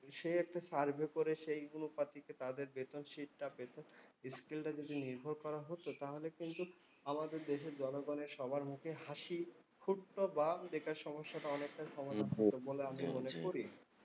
সে একটা survey করে সেই অনুপাতিকে তাদের বেতন sheet টা পেত। skill টা যদি নির্ভর করা হতো তাহলে কিন্তু আমাদের দেশের জনগণের সবার মুখে হাসি ফুটতো বা বেকার সমস্যাটা অনেকটা সমাধান হয়ে যেত বলে আমি মনে করি।